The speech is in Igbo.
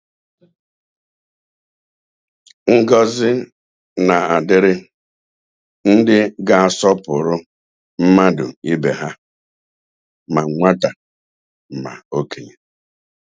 Ngọzi na-adịrị ndị ga-asọpụrụ mmadụ ibe ha, ma nwata ma okenye